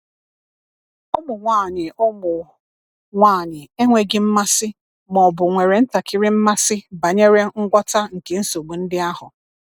Ụmụ nwanyị Ụmụ nwanyị enweghị mmasị ma ọ bụ nwere ntakịrị mmasị banyere ngwọta nke nsogbu ndị ahụ.